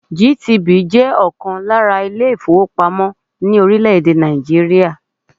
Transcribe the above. GTB jẹ́ ọ̀kan lára àwọn ilé-ìfowópamọ́ ní orílẹ̀-èdè Nàìjíríà.